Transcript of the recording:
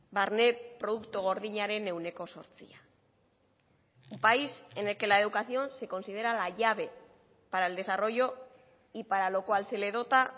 barne produktu gordinaren ehuneko zortzia un país en el que la educación se considera la llave para el desarrollo y para lo cual se le dota